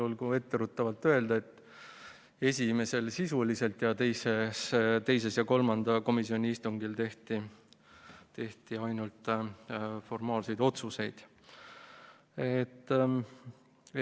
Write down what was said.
Olgu etteruttavalt öeldud, et esimesel komisjoni istungil arutati eelnõu sisuliselt, aga teisel ja kolmandal tehti ainult formaalseid otsuseid.